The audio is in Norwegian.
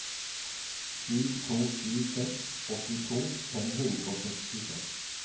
sju to sju seks åttito fem hundre og sekstiseks